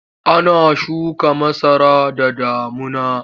Ana shuka masara da damuna.